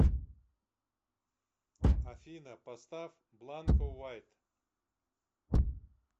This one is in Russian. афина поставь бланко вайт